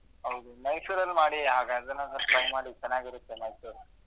ಹೌದು ಮೈಸೂರಲ್ಲಿ ಮಾಡಿ ಹಾಗಾದ್ರೆ try ಮಾಡಿ ಚೆನ್ನಾಗಿ ಇರುತ್ತೆ ಮೈಸೂರ್ .